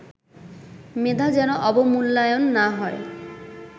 মেধা যেন অবমূল্যায়ন না হয়